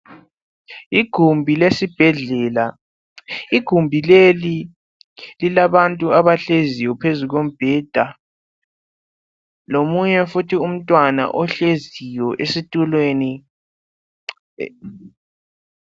Igumbi lesibhedlela. Igumbi leli lilabantu abahleziyo phezu kombheda, lomunye futhi umntwana ohleziyo esitulweni.